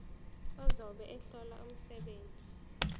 ozobe ehlola umsebenzi